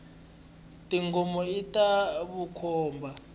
tingomo ita vukhomba